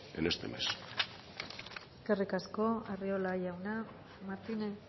en este mes eskerrik asko arriola jauna martínez